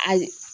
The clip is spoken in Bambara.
Ayi